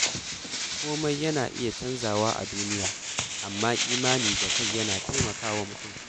Komai na iya canzawa a duniya, amma imani da kai yana taimaka wa mutum.